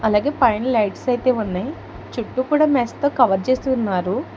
అలాగే పైన లైట్స్ అయితే ఉన్నాయి చుట్టూ కూడా మెస్సుతో కవర్ చేసి ఉన్నారు.